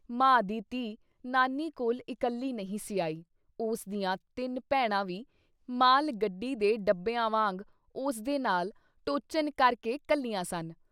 ਮਾਂ ਦੀ ਧੀ ਨਾਨੀ ਕੋਲ਼ ਇੱਕਲੀ ਨਹੀਂ ਸੀ ਆਈ ਉਸ ਦੀਆਂ ਤਿੰਨ ਭੈਣਾਂ ਵੀ ਮਾਲ ਗੱਡੀ ਦੇ ਡੱਬਿਆਂ ਵਾਂਗ ਉਸਦੇ ਨਾਲ ਟੋਚਨ ਕਰਕੇ ਘੱਲੀਆਂ ਸਨ।